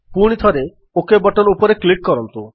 ପୁଣିଥରେ okay button ଉପରେ click କରନ୍ତୁ